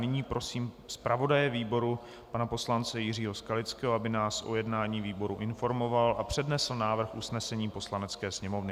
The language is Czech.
Nyní prosím zpravodaje výboru pana poslance Jiřího Skalického, aby nás o jednání výboru informoval a přednesl návrh usnesení Poslanecké sněmovny.